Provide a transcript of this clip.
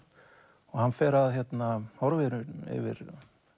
og hann fer að horfa í raun yfir